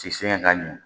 Ti se ka ɲɛ